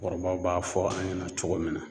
kɔrɔbaw b'a fɔ an ɲɛna cogo min na.